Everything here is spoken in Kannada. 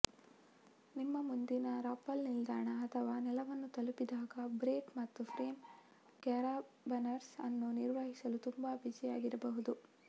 ನಿಮ್ಮ ಮುಂದಿನ ರಾಪ್ಪಲ್ ನಿಲ್ದಾಣ ಅಥವಾ ನೆಲವನ್ನು ತಲುಪಿದಾಗ ಬ್ರೇಕ್ ಮತ್ತು ಫ್ರೇಮ್ ಕ್ಯಾರಬನರ್ಸ್ ಅನ್ನು ನಿರ್ವಹಿಸಲು ತುಂಬಾ ಬಿಸಿಯಾಗಿರಬಹುದು